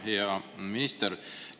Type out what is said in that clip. Hea minister!